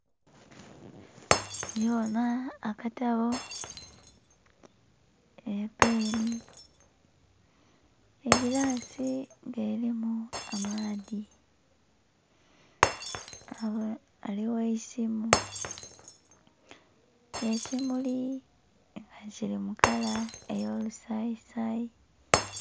Ndhibonha akatabo, epeni egilaasi nga erimu amaadhi. Ghale ghaligho eisimu, ekimuli kili mu kala eyo lusayi sayi.